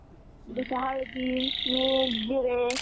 जशी हळदी मीठ जिरे